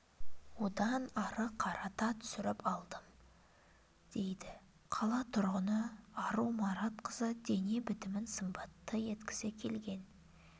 одан ары қарата түсіріп алдым дейді қала тұрғыны ару маратқызы дене бітімін сымбатты еткісі келген